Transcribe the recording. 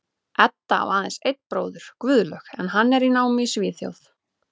Edda á aðeins einn bróður, Guðlaug, en hann er í námi í Svíþjóð.